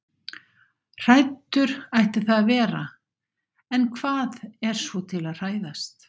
Hræddur ætti það að vera- en hvað er svo til að hræðast?